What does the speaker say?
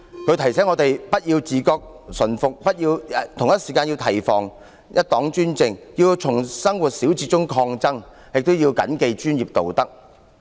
他提醒我們不要自覺馴服，同時要提防一黨專政，並要從生活小節中抗爭，以及要謹記專業道德。